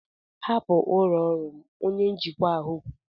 hapụ ụlọ ọrụ m! Onye njikwa ahụ kwuru.